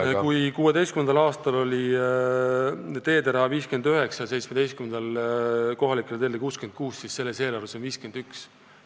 ... 2016. aastal oli kohalikele teedele ette nähtud 59 miljonit ja 2017. aastal 66 miljonit, siis 2019. aasta eelarves on selleks vaid 51 miljonit.